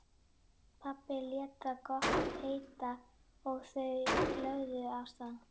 Pabbi lét það gott heita og þau lögðu af stað.